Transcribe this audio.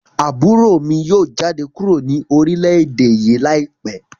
Aburo mi yoo jade kuro ni orilẹ-ede yii laipẹ